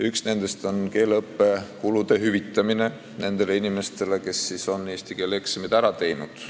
Üks nendest on olnud keeleõppekulude hüvitamine nendele inimestele, kes on eesti keele eksamid ära teinud.